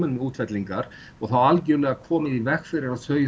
með útfellingar og þá algjörlega komið í veg fyrir að þau